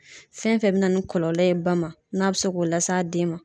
Fɛn fɛn be na ni kɔlɔlɔ ye ba ma, n'a be se k'o lase den ma.